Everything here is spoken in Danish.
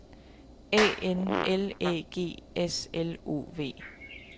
A N L Æ G S L O V